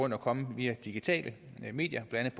at komme via digitale medier blandt